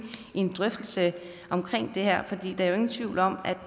i en drøftelse af det her der er ingen tvivl om